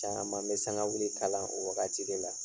Caman bɛ sangawuli kalan o wagati de la!